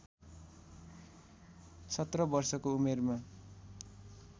१७ वर्षको उमेरमा